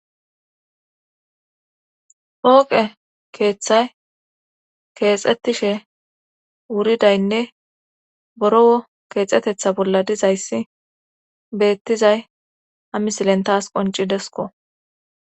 pooqe keeththay keexettishe wuridaynne borowo keexetetha bolla dizayssi beettizay ha misilen taas qonccidesko.